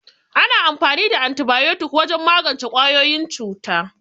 Ana amfani da Antibayotik wajen magance ƙwayoyin cuta.